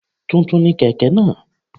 Tuntun ni kèké náà